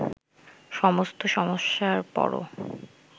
সমস্ত সমস্যার পরও